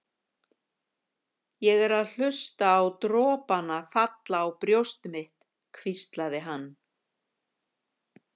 Ég er að hlusta á dropana falla á brjóst mitt, hvíslar hann.